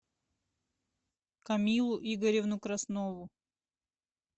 камилу игоревну краснову